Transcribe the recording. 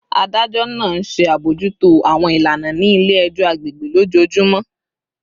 Adajọ naa nṣe abojuto awọn ilana ni ile-ẹjọ agbegbe lojoojumọ